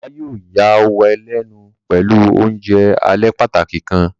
Baba yóò yàwàlénu pẹlu ounjẹ alẹ pàtàki kan.